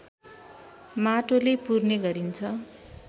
माटोले पुर्ने गरिन्छ